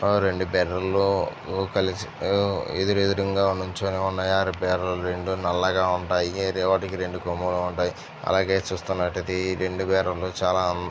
ఆ రెండు బెర్రలు కలిసి ఆ ఎదురెదురుంగా నిల్చొని ఉన్నాయి. ఆ బెర్రలు రెండు నల్లగా ఉంటాయి. వాటికి రెండు కొమ్ములు ఉంటాయి. అలాగే చూస్తున్నటైతే ఈ రెండు బర్రెలు చాలా అందంగా--